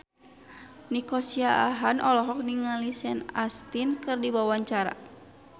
Nico Siahaan olohok ningali Sean Astin keur diwawancara